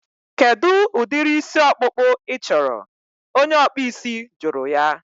Kedụ udiri isi ọkpụkpụ I chọrọ? Onye ọkpụ isi jụrụ ya